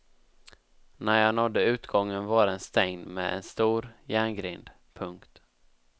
När jag nådde utgången var den stängd med en stor järngrind. punkt